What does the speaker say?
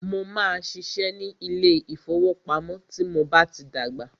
Mó máà ṣiṣẹ́ ní ilé ìfọwọ́pamo tí mo bá tí dàgbà.